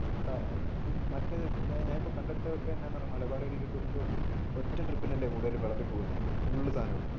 ഒറ്റ ട്രിപ്പിന് അല്ലെ കൂടുതൽ വിളമ്പി കൊടുക്കുന്നെ ഫുൾ സാധനം.